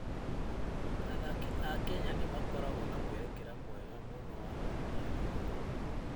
Athaki a Kenya nĩ makoragwo na mwerekera mwega mũno wa kũruta wĩra.